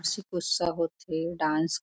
उसी गुस्सा हो थे डांस --